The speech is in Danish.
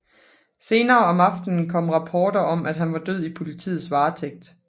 Senere om aftenen kom rapporter om at han var død i politiets varetægt